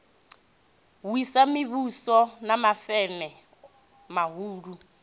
wisa mivhuso na mafeme mahulu